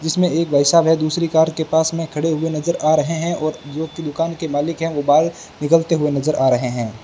जिसमें एक भाई साहब हैं दूसरी कार के पास में खड़े हुए नजर आ रहे हैं और जो व्यक्ति दुकान के मालिक हैं वो बहार निकलते हुए नजर आ रहे हैं।